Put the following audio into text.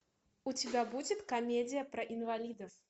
у тебя будет комедия про инвалидов